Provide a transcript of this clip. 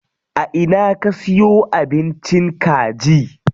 A ina ka siyo abincin kaji?